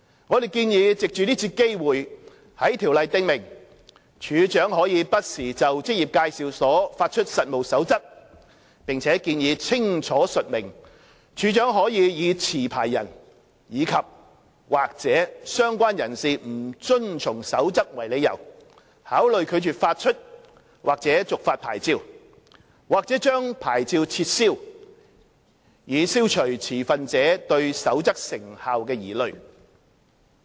我們建議藉這次機會，在《條例》訂明處長可不時就職業介紹所發出實務守則，並建議清楚述明處長可以持牌人及/或相關人士不遵從《守則》為理由，考慮拒絕發出或續發牌照，或將牌照撤銷，以消除持份者對《守則》成效的疑慮。